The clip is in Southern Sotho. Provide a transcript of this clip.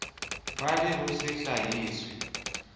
ba le ho se hlahiswe